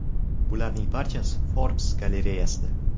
Bularning barchasi Forbes galereyasida .